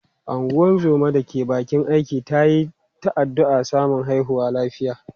Ungozoma da ke bakin aiki ta yi ta addu’ar samun haihuwa lafiya.